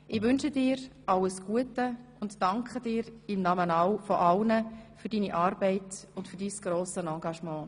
Ich wünsche dir alles Gute und danke dir im Namen von allen für deine Arbeit und dein grosses Engagement.